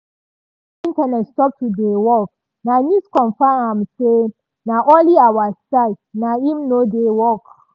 wen internet stop to dey work na news confam am say na only our side naim nor dey work.